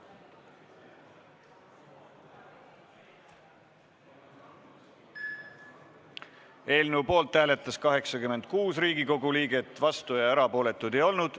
Hääletustulemused Eelnõu poolt hääletas 86 Riigikogu liiget, vastuolijaid ega erapooletuid ei olnud.